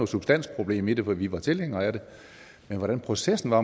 substansproblem i det for vi var tilhængere af det men hvordan processen var